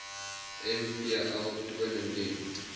mvl toon indien